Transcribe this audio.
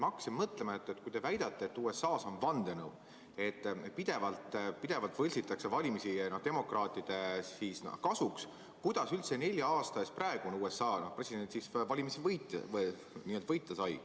Ma hakkasin mõtlema, et kui te väidate, et USA-s on vandenõu ja pidevalt võltsitakse valimisi demokraatide kasuks, siis kuidas üldse nelja aasta eest praegune USA president valimisi võita sai.